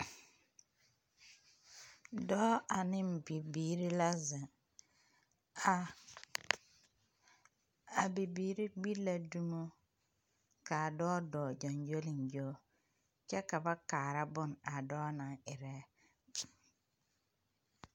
Dɔɔ ane bibiiri la zeŋ. Ka a bibiiri gbi la dumo ka a dɔɔ dɔɔ gyoŋgyoliŋgyo kyɛ ka ba kaara bone a dɔɔ naŋ erɛ.